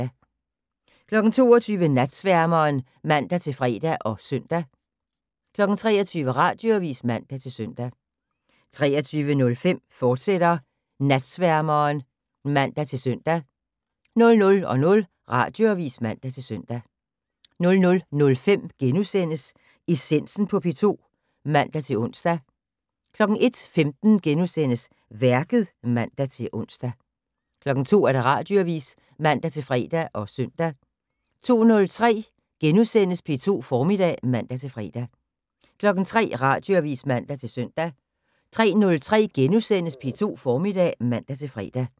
22:00: Natsværmeren (man-fre og søn) 23:00: Radioavis (man-søn) 23:05: Natsværmeren, fortsat (man-søn) 00:00: Radioavis (man-søn) 00:05: Essensen på P2 *(man-ons) 01:15: Værket *(man-ons) 02:00: Radioavis (man-fre og søn) 02:03: P2 Formiddag *(man-fre) 03:00: Radioavis (man-søn) 03:03: P2 Formiddag *(man-fre)